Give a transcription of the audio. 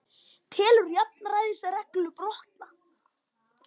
Telur jafnræðisreglu brotna